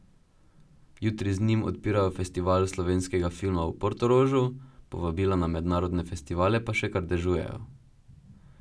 Jutri z njim odpirajo festival slovenskega filma v Portorožu, povabila na mednarodne festivale pa še kar dežujejo.